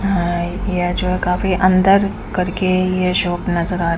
यह जो है काफी अंदर करके ये शॉप नजर आ--